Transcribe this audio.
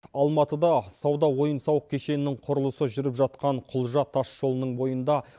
алматыда сауда ойын сауық кешенінің құрылысы жүріп жатқан құлжа тас жолының бойында